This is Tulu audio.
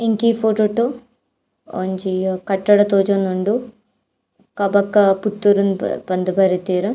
ಎನ್ಕೆ ಈ ಫೊಟೊಟ್ ಒಂಜಿ ಕಟ್ಟಡ ತೋಜೊಂದುಂಡು ಕಬಕ ಪುತ್ತೂರು ಪಂದ್ ಬರೆತೆರ್.